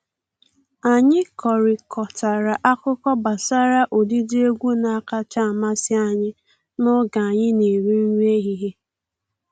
Anyị kọrịkọtara akụkọ gbasara ụdịdị egwu na-akacha amasị anyị n’oge anyï na-eri nri ehihie.